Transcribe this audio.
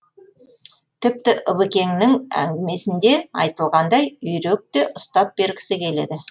тіпті ыбекеңнің әңгімесінде айтылғандай үйрек те ұстап бергісі келеді